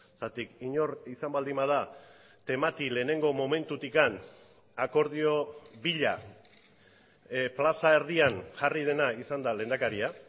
zergatik inor izan baldin bada temati lehenengo momentutik akordio bila plaza erdian jarri dena izan da lehendakaria